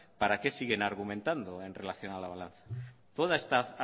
para qué siguen argumentando en relación a la balanza toda esta